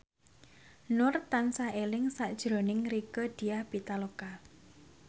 Nur tansah eling sakjroning Rieke Diah Pitaloka